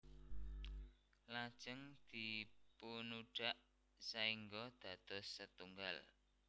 Lajeng dipunudhak saéngga dados setunggal